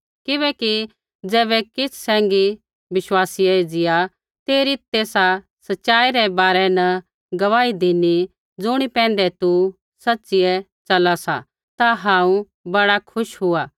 किबैकि ज़ैबै किछ़ सैंघी विश्वासीयै एज़िया तेरी तेसा सच़ाई रै बारै न गुआही धिनी ज़ुणी पैंधै तू सच़िऐ च़ला सा ता हांऊँ बड़ा खुश हुआ